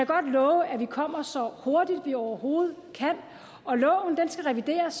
godt love at vi kommer så hurtigt vi overhovedet kan og loven skal revideres